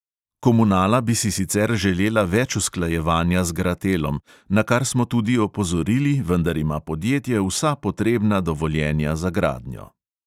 "Komunala bi si sicer želela več usklajevanja z gratelom, na kar smo tudi opozorili, vendar ima podjetje vsa potrebna dovoljenja za gradnjo."